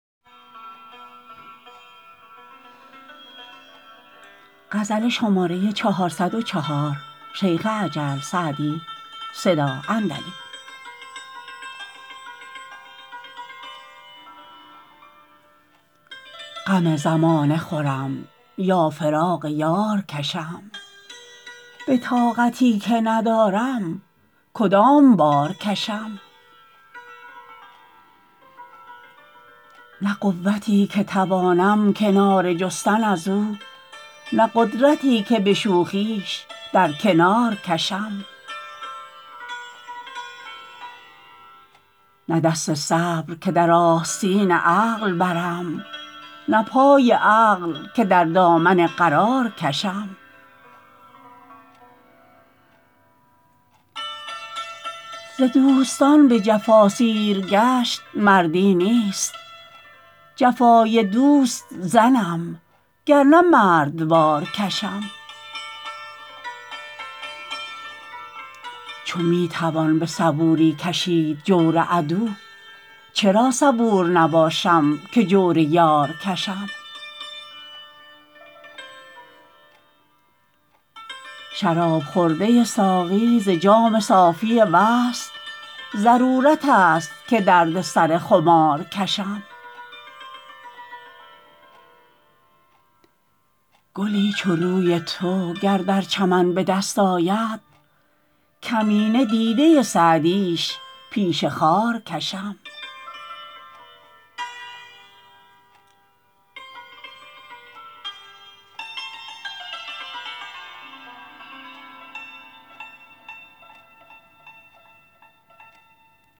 غم زمانه خورم یا فراق یار کشم به طاقتی که ندارم کدام بار کشم نه قوتی که توانم کناره جستن از او نه قدرتی که به شوخیش در کنار کشم نه دست صبر که در آستین عقل برم نه پای عقل که در دامن قرار کشم ز دوستان به جفا سیرگشت مردی نیست جفای دوست زنم گر نه مردوار کشم چو می توان به صبوری کشید جور عدو چرا صبور نباشم که جور یار کشم شراب خورده ساقی ز جام صافی وصل ضرورت است که درد سر خمار کشم گلی چو روی تو گر در چمن به دست آید کمینه دیده سعدیش پیش خار کشم